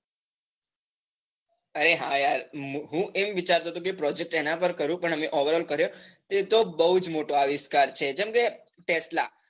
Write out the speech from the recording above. અરે હા યાર હું એમ વિચારતો હતો કે project એના પર કરું પણ અમે over all કર્યો તે તો બહુજ મોટો આવિષ્કાર છે જેમ કે tesla